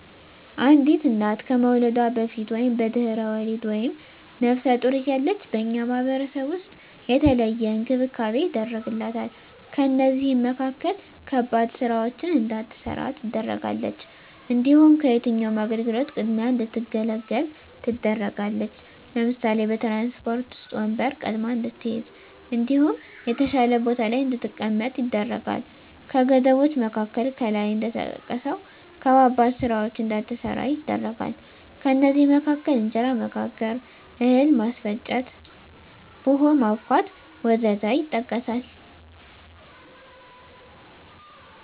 አንዲት እና ከመዉለዷ በፊት(በድሕረ ወሊድ)ወይም ነብሰ ጡር እያለች በእኛ ማህበረሰብ ዉስጥ የተለየ እንክብካቤ ይደረግላታል ከእነዚህም መካከል ከባድ ስራወችን እንዳትሰራ ትደረጋለች። እንዲሁም ከየትኛዉም አገልግሎት ቅድሚያ እንድትገለገል ትደረጋለች ለምሳሌ፦ በትራንስፖርት ዉስጥ ወንበር ቀድማ እንድትይዝ እንዲሁም የተሻለ ቦታ ላይ እንድትቀመጥ ይደረጋል። ከገደቦች መካከል ከላይ እንደተጠቀሰዉ ከባባድ ስራወችን እንዳትሰራ ይደረጋል ከእነዚህም መካከል እንጀራ መጋገር፣ እህል ማስፈጨት፣ ቡሆ ማቡካት ወዘተ ይጠቀሳል